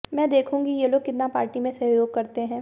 मैं देखूंगी ये लोग कितना पार्टी में सहयोग करते हैं